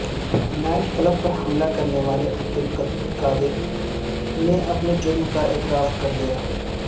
night club پر حملہ کرنے والےعبد القادر نے اپنے جرم کا اعتراف کر لیا